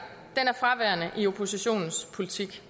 er fraværende i oppositionens politik